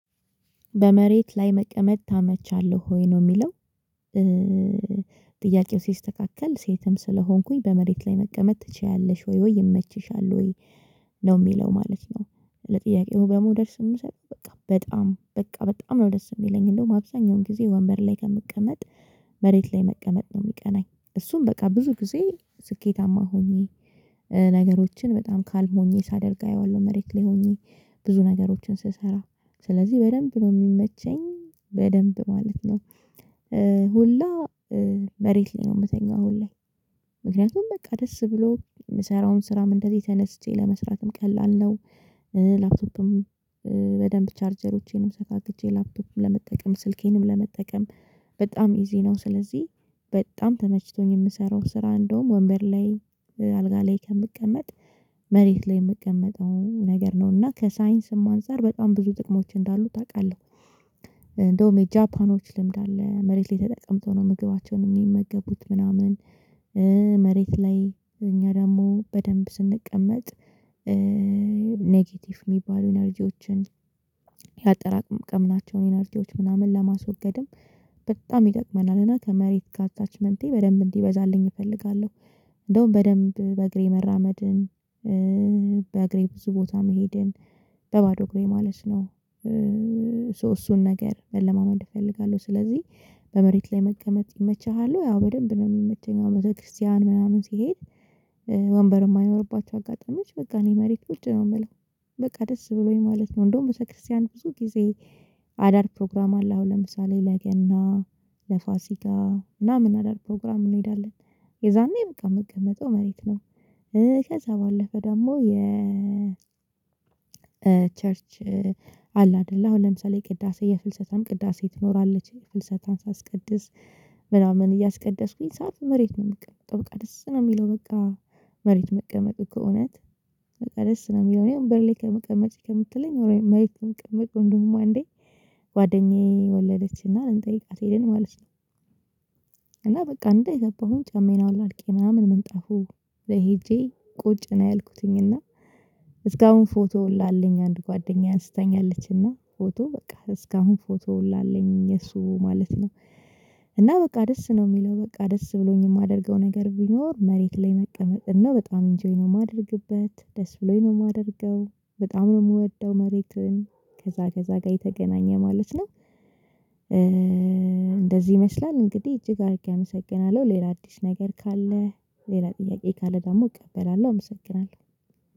በመሬት ላይ መቀመጥ ታመቻለሁ ወይ ነው የሚለው? ጥያቄው ሲስተካከል ሴትም ስለሆንኩኝ በመሬት ላይ መቀመጥ ትችያለሽ ወይ ወይ ይመችሻል ወይ ነው የሚለው ማለት ነው። ለጥያቄው በሞደር ስም በጣም በጣም ነው ደስ የሚለኝ እንደውም አብዛኛውን ጊዜ ወንበር ላይ ከምቀመጥ መሬት ላይ መቀመጥ ነው የሚቀናኝ። እሱም በቃ ብዙ ጊዜ ስኬታማ ሆኜ ነገሮችን በጣም ካልሞኘኝ ሳደርግ አየዋለሁ መሬት ላይ ሆኜ ብዙ ነገሮችን ስሰራ ስለዚህ በደንብ ነው የሚመቸኝ በደንብ ማለት ነው። ሁላ መሬት ነው የምተኛው ሁላ ምክንያቱም በቃ ደስ ብሎ የምሰራውን ስራም እንደዚህ ተነስቼ ለመስራትም ቀላል ነው። ላፕቶፕም በደንብ ቻርጀሮቼንም ሰፋቅጄ ላፕቶፕም ለመጠቀም ስልኬንም ለመጠቀም በጣም ኢዚ ነው። ስለዚህ በጣም ተመችቶኝ የምሰራው ስራ እንደውም ወንበር ላይ አልጋ ላይ ከምቀመጥ መሬት ላይ የምቀመጠው ነገር ነው እና ከሳይንስም አንፃር በጣም ብዙ ጥቅሞች እንዳሉት አውቃለሁ። እንደውም የጃፓኖች ልምድ አለ መሬት ላይ ተጠቅምተው ነው ምግባቸውን የሚመገቡት ምናምን። መሬት ላይ እኛ ደግሞ በደንብ ስንቀመጥ ኔጌቲቭ የሚባሉ ኢነርጂዎችን ያጠራቀምናቸውን ኢነርጂዎች ምናምን ለማስወገድም በጣም ይጠቅመናልና እና ከመሬት ጋር አታችመንቴ በደንብ እንዲበዛልኝ እፈልጋለሁ። እንደውም በደንብ በእግሬ መራመድን በእግሬ ብዙ ቦታ መሄድን በባዶ እግሬ ማለት ነው። እሱን ነገር መለማመን እፈልጋለሁ ስለዚህ በመሬት ላይ መቀመጥ ይመችሃሉ ያው በደንብ ነው የሚመቸኝ። የቤተክርስቲያን ምናምን ሲሄድ ወንበር የማይኖርባቸው አጋጣሚዎች በቃ እኔ መሬት ውጭ ነው የምለው በቃ ደስ ብሎኝ ማለት ነው። እንደውም ቤተክርስቲያን ብዙ ጊዜ አዳር ፕሮግራም አለ አሁን ለምሳሌ ለገና ለፋሲካ ምናምን አደርግ ፕሮግራም እንሄዳለን። የዛኔ በቃ የምትቀመጠው መሬት ነው። ከዛ ባለፈ ደግሞ የ ቸርች አለ አይደለ አሁን ለምሳሌ ቅዳሴ የፍልሰታም ቅዳሴ ትኖራለች የፍልሰታን ሳስቀድስ ምናምን እያስቀደስኩኝ ሰዓት መሬት ነው የምቀመጠው በቃ ደስ ነው የሚለው። በቃ መሬት መቀመጥ ከእውነት በቃ ደስ ነው የሚለው እኔ አሁን በርሌ ከመቀመጥ ከምትለኝ ወይ መሪክ እንቅምቅ እንደውም አንዴ ጓደኛዬ ወለደችና ልንጠይቃት ሄድን ማለት ነው። እና በቃ እንደ የገባሁት ጫማዬን አወላልቄ ምናምን ምንጣፉ ሄጄ ቁጭ ነው ያልኩትኝ እና። እስካሁን ፎቶ ሁላ አለኝ አንድ ጓደኛዬ አንስታኛለች እና ፎቶ በቃ እስካሁን ፎቶ ሁላ አለኝ እሱ ማለት ነው። እና በቃ ደስ ነው የሚለው በቃ ደስ ብሎኝ የማደርገው ነገር ቢኖር መሬት ላይ መቀመጥ ነው። በጣም ኢንጆይ ነው የማደርግበት ደስ ብሎኝ ነው የማደርገው በጣም ነው የምወደው መሬትን ከዛ ከዛ ጋር የተገናኘ ማለት ነው። እንደዚህ ይመስላል እንግዲህ እጅግ አድርጌ አመሰግናለሁ። ሌላ አዲስ ነገር ካለ ሌላ ጥያቄ ካለ ደግሞ እቀበላለሁ። አመሰግናለሁ።